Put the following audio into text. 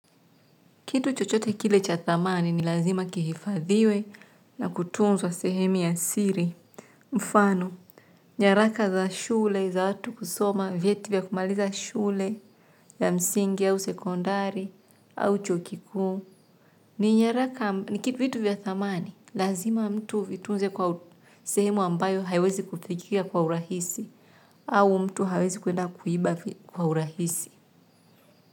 Kitu chochote kile cha thamani ni lazima kihifadhiwe na kutunzwa sehemu ya siri. Mfano, nyaraka za shule, za watu kusoma, vieti vya kumaliza shule, ya msingi au sekondari, au chuokikuu. Ni kitu vitu vya thamani, lazima mtu huvitunze kwa sehemu ambayo haiwezi kufikika kwa urahisi, au mtu hawezi kuenda kuiba kwa urahisi.